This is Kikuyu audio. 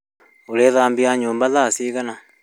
Ũrĩthambia nyumba thaa cigana?